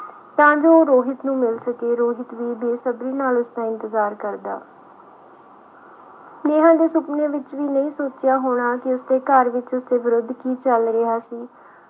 ਤਾਂ ਜੋ ਉਹ ਰੋਹਿਤ ਨੂੰ ਮਿਲ ਸਕੇ ਰੋਹਿਤ ਵੀ ਬੇਸਬਰੀ ਨਾਲ ਉਸਦਾ ਇੰਤਜਾਰ ਕਰਦਾ ਨੇ ਸੁਪਨੇ ਵਿਚ ਵੀ ਨਹੀਂ ਸੋਚਿਆ ਹੋਣਾਕੀ ਉਸ ਦੇ ਘਰ ਵਿੱਚ ਉਸਦੇ ਵਿਰੁਧ ਕੀ ਚਁਲ ਰਿਹਾ ਸੀ